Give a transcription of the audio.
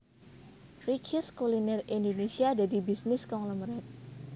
Richeese Kuliner Indonesia dadi bisnis konglomerat